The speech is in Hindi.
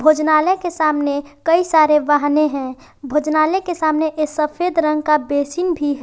भोजनालय के सामने कई सारे वाहने हैं भोजनालय के सामने ये सफेद रंग का बेसिन भी है।